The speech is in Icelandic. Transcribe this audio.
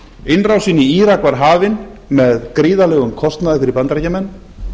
innrásin í írak var hafin með gríðarlegum kostnaði fyrir bandaríkjamenn